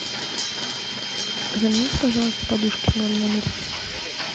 замените пожалуйста подушки в моем номере